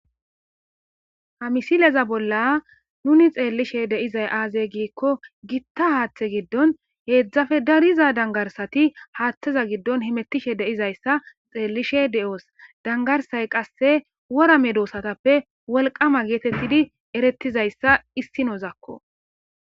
hamisileza bolla nuni xeellishe deizay aazey giikko gitta haaththe giddon heedzdzafe dariza dangarsati haaththeza giddon himetishe deizayssa xeellishe de7oos dangarsay qasse wora me doosatappe wolqama geetettidi erettizayssa issinozakko